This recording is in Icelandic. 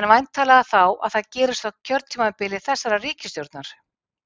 En væntanlega þá að það gerist á kjörtímabili þessarar ríkisstjórnar?